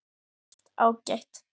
Allt ágætt.